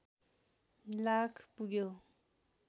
लाख पुग्यो